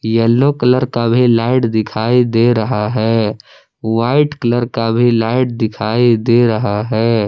Yellow colour का भी light दिखाई दे रहा है व्हाइट कलर का भी लाइट दिखाई दे रहा है।